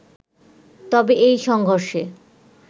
তবে এই সংঘর্ষে